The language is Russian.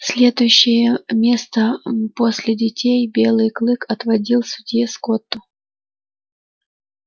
следующее место после детей белый клык отводил судье скотту